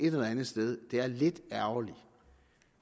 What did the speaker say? et eller andet sted er lidt ærgerligt